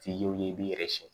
Ti ye o ye i b'i yɛrɛ siɲɛ